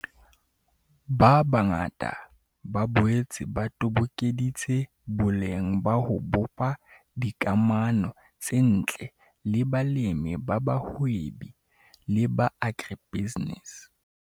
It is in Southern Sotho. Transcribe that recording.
Ba bangata ba boetse ba tobokeditse boleng ba ho bopa dikamano tse ntle le balemi ba bahwebi le ba agri-business.